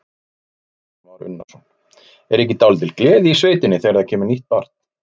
Kristján Már Unnarsson: Er ekki dálítil gleði í sveitinni þegar það kemur nýtt barn?